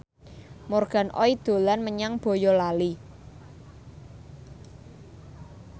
Morgan Oey dolan menyang Boyolali